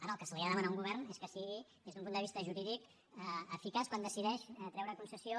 ara el que s’ha de demanar a un govern és que sigui des d’un punt de vista jurídic eficaç quan decideix treure a concessió